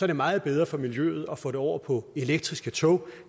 det meget bedre for miljøet at få det over på elektriske tog